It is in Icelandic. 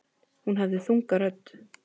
Hún hafði þunga rödd.